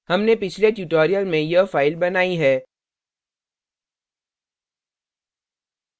हमने पिछले tutorial में यह file बनाई है